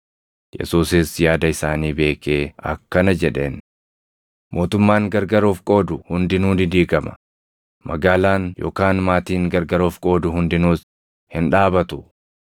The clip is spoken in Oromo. Yesuusis yaada isaanii beekee akkana jedheen; “Mootummaan gargar of qoodu hundinuu ni diigama; magaalaan yookaan maatiin gargar of qoodu hundinuus hin dhaabatu.